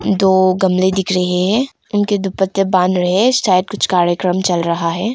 दो गमले दिख रहे हैं उनके दुपट्टे बान्ह रहे शायद कुछ कार्यक्रम चल रहा है।